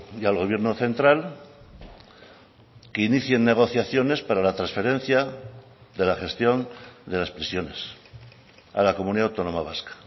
y al gobierno central que inicien negociaciones para la transferencia de la gestión de las prisiones a la comunidad autónoma vasca